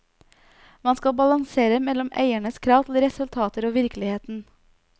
Man skal balansere mellom eiernes krav til resultater og virkeligheten.